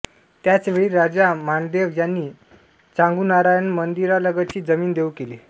त्याच वेळी राजा मांडदेव यांनी चांगुनारायण मंदिरालगतची जमीन देऊ केली